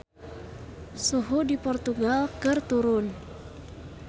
Suhu di Portugal keur turun